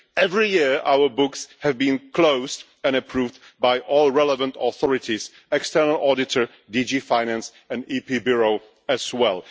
Every year our books have been closed and approved by all relevant authorities the external auditor, DG Finance and Parliament's Bureau as well.